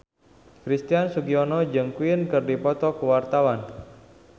Christian Sugiono jeung Queen keur dipoto ku wartawan